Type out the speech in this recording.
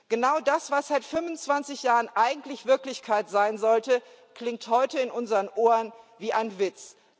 Genau das, was seit 25 Jahren eigentlich Wirklichkeit sein sollte, klingt heute in unseren Ohren wie ein Witz.